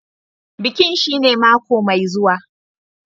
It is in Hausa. Bikin shine mako mai zuwa.